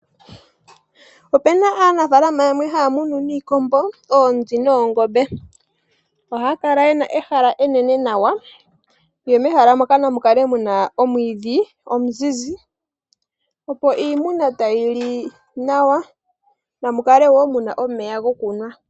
Ope na aanafalama yamwe ohaya munu niikombo, oonzi noongombe. Ohaya kala ye na ehala enene nawa, mehala moka namu kale mu na omwiidhi gwa ziza nawa opo iimuna tayi li nawa, namu kale wo mu na omeya gokunwa.